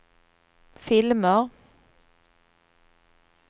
filmer